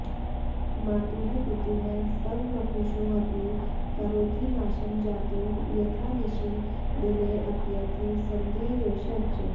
मातुः पितुः स्ववपुषोऽपि करोति नाशं जातो यथा निशि दिनेऽप्यथ सन्ध्ययोश्च